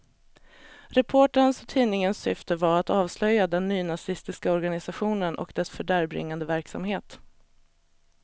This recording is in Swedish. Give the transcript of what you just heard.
Reporterns och tidningens syfte var att avslöja den nynazistiska organisationen och dess fördärvbringande verksamhet.